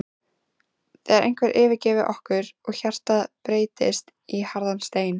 þegar einhver yfirgefur okkur og hjartað breytist í harðan stein.